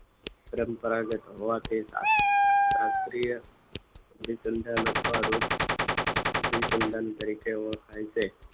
પરંપરાગત હવા કે રાત્રિય અભિસંધાન અથવા રોજ અભિસંધાન તરીકે ઓળખાય છે.